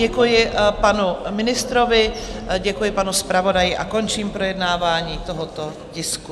Děkuji panu ministrovi, děkuji panu zpravodaji a končím projednávání tohoto tisku.